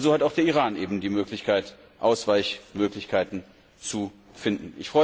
Aber so hat auch der Iran die Möglichkeit, Ausweichmöglichkeiten zu finden.